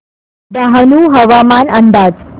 डहाणू हवामान अंदाज